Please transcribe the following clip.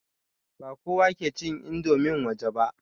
Ba kowa ke cin indomin waje ba.